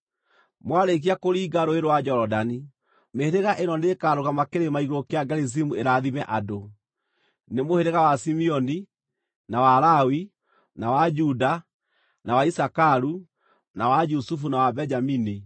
Mwarĩkia kũringa Rũũĩ rwa Jorodani, mĩhĩrĩga ĩno nĩĩkarũgama kĩrĩma igũrũ kĩa Gerizimu ĩrathime andũ: Nĩ mũhĩrĩga wa Simeoni, na wa Lawi, na wa Juda, na wa Isakaru, na wa Jusufu na wa Benjamini.